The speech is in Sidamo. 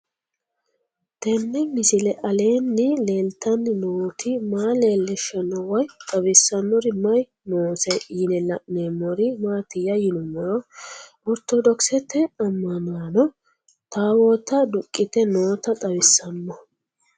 Tenni misile aleenni leelittanni nootti maa leelishshanno woy xawisannori may noosse yinne la'neemmori maattiya yinummoro oritto dokisette amannaanno tawootta duqiitte nootta xawissanno